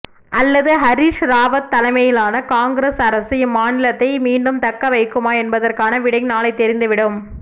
அல்லது ஹரீஷ் ராவத் தலைமையிலான காங்கிரஸ் அரசு இம்மாநிலத்தை மீண்டும் தக்கவைக்குமா என்பதற்கான விடை நாளை தெரிந்துவிடும்